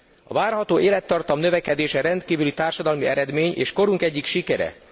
A várható élettartam növekedése rendkívüli társadalmi eredmény és korunk egyik sikere.